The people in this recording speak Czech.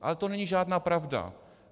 Ale to není žádná pravda.